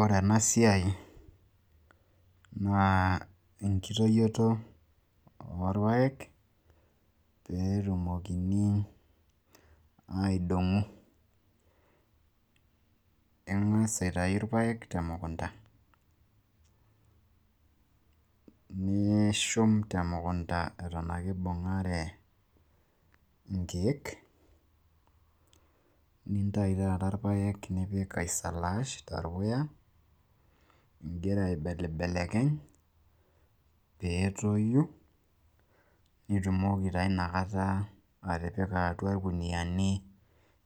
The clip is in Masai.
ore ena siai naa enkitoyioto oorpaek, pee etumokini .aidong'o. ing'as aitayu irpaek te mukunta, nishum te mukunta eton ake ibung'are inkeek. nintayu taata irpaek naisalaash torpuya, igira aibelibelekeny pee etoyu, nitumoki taa ina kata atipika, atua irkuniyiani.